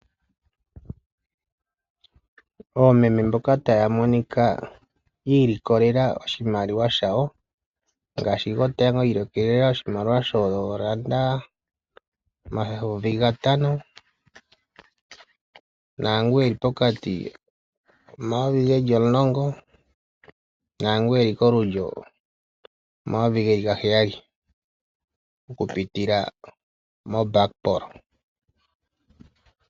Oomeme mboka taya monika yiilikoko lela oshimaliwa shawo, ngaashi gotango iilikolela oshimaliwa shoolanda omayovi gatano, nangu eli pokati omayovi geli omlongo naangu eli kolulyo omayovi geli gaheyali okupitila moBakpro.